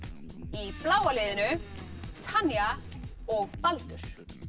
í bláa liðinu Tanja og Baldur